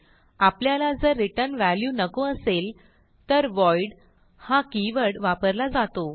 आपल्याला जर return value नको असेल तर व्हॉइड हा कीवर्ड वापरला जातो